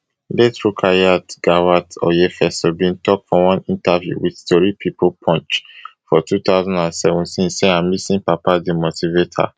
late rukayat gawat oyefeso bin tok for one interview wit tori pipo punch for two thousand and seventeen say her missing papa dey motivate her